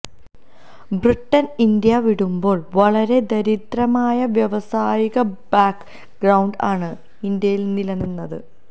Britain India വിടുമ്പോൾ വളരെ ദരിദ്രമായ വ്യാവസായിക ബാക്ക് ഗ്രൌണ്ട് ആണ് ഇന്ത്യയിൽ നിലനിന്നത്